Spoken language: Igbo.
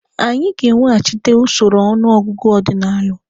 Anyị ga-eweghachite usoro ọnụ ọgụgụ ọdinalụ.